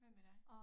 Hvad med dig